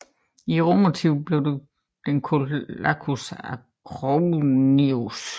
I romertiden blev den kaldt Lacus Acronius